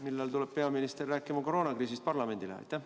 Millal tuleb peaminister rääkima parlamendile koroonakriisist?